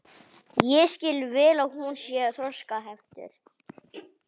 Ég skil vel að hún.